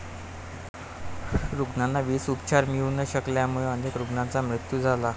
रुग्णांना वेळीच उपचार मिळू न शकल्यामुळे अनेक रुग्णांचा मृत्यू झाला.